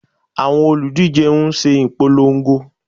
Àwọn olùdíje ń ṣe ipolongo